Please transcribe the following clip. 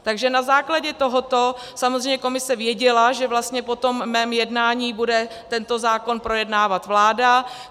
Takže na základě tohoto samozřejmě komise věděla, že vlastně po tom mém jednání bude tento zákon projednávat vláda.